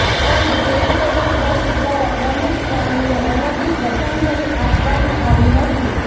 and charitable trust દ્વારા પ્રમુખ સ્વામીને અનોખી શ્રધ્ધાંજલી આપવામાં આવી હતીે